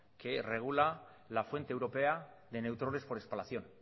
que regula la fuente europea de neutrones por espalación